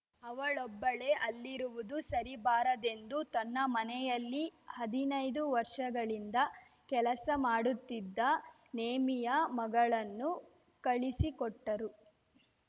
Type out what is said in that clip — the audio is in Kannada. ಅವಳೊಬ್ಬಳೇ ಅಲ್ಲಿರುವುದು ಸರಿಬಾರದೆಂದು ತನ್ನ ಮನೆಯಲ್ಲಿ ಹದಿನೈದು ವರ್ಷಗಳಿಂದ ಕೆಲಸ ಮಾಡುತ್ತಿದ್ದ ನೇಮಿಯ ಮಗಳನ್ನು ಕಳಿಸಿಕೊಟ್ಟರು